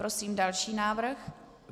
Prosím další návrh.